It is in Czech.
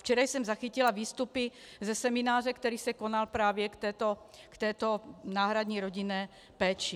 Včera jsem zachytila výstupy ze semináře, který se konal právě k této náhradní rodinné péči.